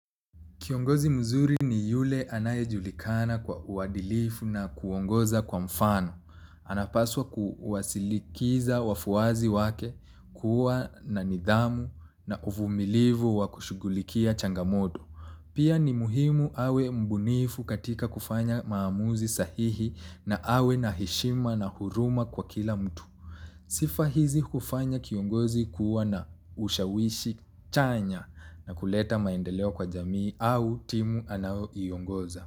Kiongozi mzuri ni yule anaye julikana kwa uadilifu na kuongoza kwa mfano. Anapaswa kuwasikiliza wafuasi wake kuwa na nidhamu na uvumilivu wa kushugulikia changamoto. Pia ni muhimu awe mbunifu katika kufanya maamuzi sahihi na awe na heshima na huruma kwa kila mtu. Sifa hizi hufanya kiongozi kuwa na ushawishi chanya na kuleta maendeleo kwa jamii au timu anayoiongoza.